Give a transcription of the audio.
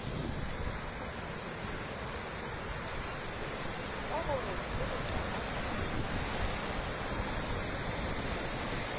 ka horekeboqaba le ha e